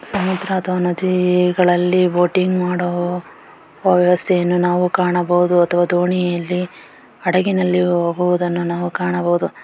ಸಮುದ್ರ ಅಥವಾ ನದಿಗಳಲ್ಲಿ ಬೋಟಿಂಗ್ ಮಾಡುವ ವ್ಯವಸ್ಥೆಯನ್ನು ನಾವು ಕಾಣಬಹುದು ಅಥವಾ ದೋಣಿಯಲ್ಲಿ ಹಡಗಿನಲ್ಲಿ ಹೋಗುವದನ್ನು ನಾವು ಕಾಣಬಹುದು .